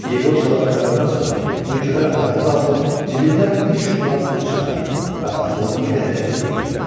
Yeqor çalıb qurtarandan sonra mülkədar ayağa qalxıb cibindən 300 manat pul çıxarır və atalığıma verərək deyir.